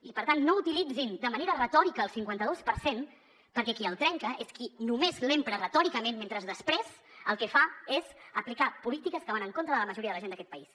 i per tant no utilitzin de manera retòrica el cinquanta dos per cent perquè qui el trenca és qui només l’empra retòricament mentre després el que fa és aplicar polítiques que van en contra de la majoria de la gent d’aquest país